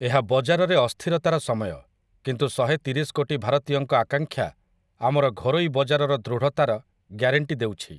ଏହା ବଜାରରେ ଅସ୍ଥିରତାର ସମୟ, କିନ୍ତୁ ଶହେତିରଶି କୋଟି ଭାରତୀୟଙ୍କ ଆକାଂକ୍ଷା ଆମର ଘରୋଇ ବଜାରର ଦୃଢ଼ତାର ଗ୍ୟାରେଂଟି ଦେଉଛି ।